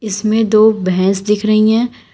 इसमें दो भैंस दिख रही हैं।